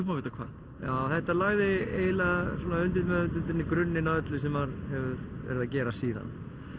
má vita hvað já þetta lagði eiginlega í undirmeðvitundinni grunninn að öllu sem maður hefur verið að gera síðan